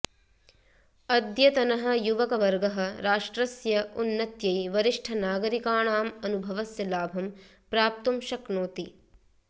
अद्यतनः युवकवर्गः राष्ट्रस्य उन्नत्यै वरिष्ठनागरिकाणाम् अनुभवस्य लाभं प्राप्तुं शक्नोति